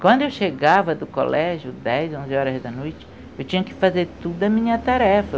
Quando eu chegava do colégio, dez, onze horas da noite, eu tinha que fazer toda a minha tarefa.